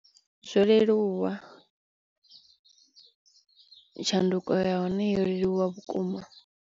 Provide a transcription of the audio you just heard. Zwo leluwa, tshanduko ya hone yo leluwa vhukuma.